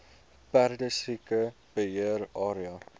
perdesiekte beheer area